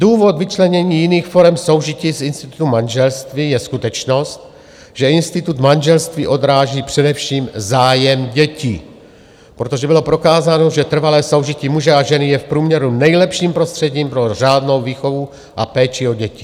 Důvod vyčlenění jiných forem soužití z institutu manželství je skutečnost, že institut manželství odráží především zájem dětí, protože bylo prokázáno, že trvalé soužití muže a ženy je v průměru nejlepším prostředím pro řádnou výchovu a péči o děti.